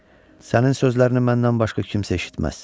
Sənin sözlərini məndən başqa kimsə eşitməz.